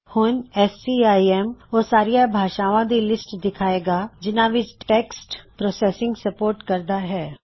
ਹੁਣ ਸੀਆਈਐੱਮ ਓਹ ਸਾਰੀਆਂ ਭਾਸ਼ਾਵਾਂ ਦੀ ਲਿਸਟ ਦਿਖਾਵੇਗਾ ਜਿਨ੍ਹਾਂ ਵਿੱਚ ਟੈੱਕਸਟ ਪਰੋਸੈੱਸਇੰਗ ਸਮਰਥਿਤ ਕਰਦਿਆਂ ਹੈ